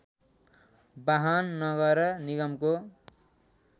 बाहन नगर निगमको